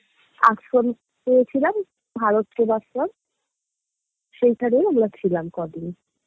আশ্রম পেয়েছিলাম ভারত সেবাশ্রম সেইখানেই আমরা ছিলাম কদিন